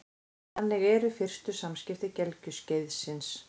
Þannig eru fyrstu samskipti gelgjuskeiðsins.